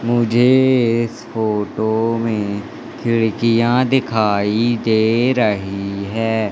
मुझे इस फोटो में खिड़कियां दिखाई दे रही है।